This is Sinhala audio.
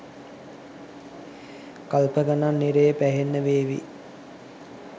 කල්ප ගණන් නිරයේ පැහෙන්න වේවි.